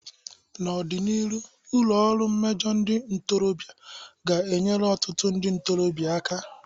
N'ọdịnihu, ụlọ ọrụ mmejọ ndị ntorobịa ga-enyere ọtụtụ ndị ntorobịa aka.